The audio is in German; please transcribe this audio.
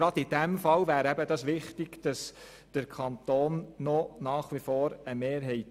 Gerade in diesem Fall wäre es wichtig, der Kanton hätte nach wie vor eine Aktienmehrheit.